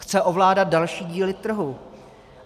Chce ovládat další díly trhu.